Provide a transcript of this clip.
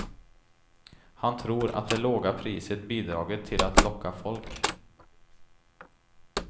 Han tror att det låga priset bidragit till att locka folk.